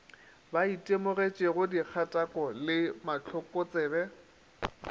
ba itemogetšego dikgatako le mahlokotsebe